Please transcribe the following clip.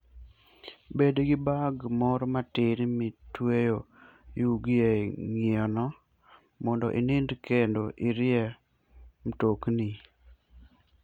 Bed gi bag moro matin mitweyo yugi e ng'iyeno mondo inindi kendo irie mtokni.